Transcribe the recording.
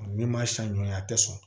Min ma siɲɛ joona a tɛ sɔn